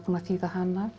að þýða hana